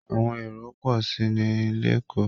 Àwọn èrò ń pọ̀ sí i ni LÉkòó